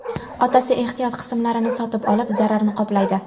Otasi ehtiyot qismlarini sotib olib, zararni qoplaydi.